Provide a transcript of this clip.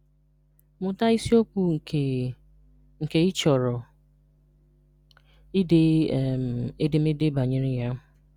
Mụta isiokwu nke nke ị chọrọ ide um edemede banyere ya.